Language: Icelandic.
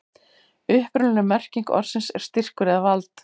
upprunaleg merking orðsins er styrkur eða vald